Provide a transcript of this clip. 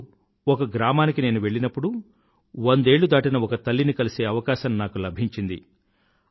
అప్పుడు ఒక గ్రామానికి నేను వెళ్ళినప్పుడు వందేళ్ళు దాటిన ఒక తల్లిని కలిసే అవకాశం నాకు లభించింది